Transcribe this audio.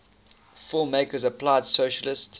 filmmakers applied socialist